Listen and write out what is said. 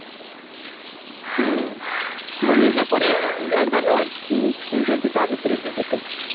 ହୁଁ ମୁଁ ନିଜେ ପୁରେଇ ଯାଇ ପାରୁନି ତୁ ସେଇଠି ତା ଭିତରେ ଯିବୁ ତୁ